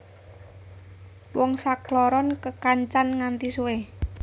Wong sakloron kekancan nganti suwe